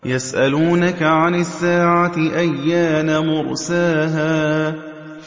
يَسْأَلُونَكَ عَنِ السَّاعَةِ أَيَّانَ مُرْسَاهَا